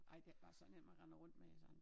Ej det ikke bare sådan en man render rundt med sådan